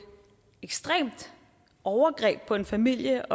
ekstremt overgreb på en familie